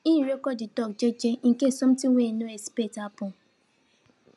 him record de tok jeje incase sometin wey him no expect happen